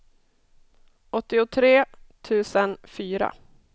åttiotre tusen fyra